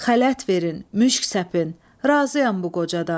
Xələt verin, müşk səpin, razıyam bu qocadan.